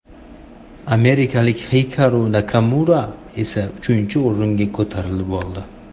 Amerikalik Xikaru Nakamura esa uchinchi o‘ringa ko‘tarilib oldi.